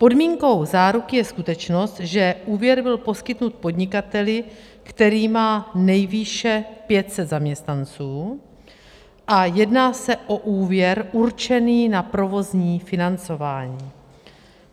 Podmínkou záruky je skutečnost, že úvěr byl poskytnut podnikateli, který má nejvýše 500 zaměstnanců a jedná se o úvěr určený na provozní financování.